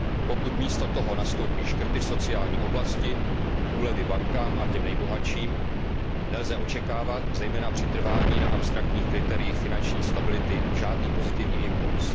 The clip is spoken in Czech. Pokud místo toho nastoupí škrty v sociální oblasti, úlevy bankám a těm nejbohatším, nelze očekávat, zejména při trvání na abstraktních kritériích finanční stability, žádný pozitivní impuls.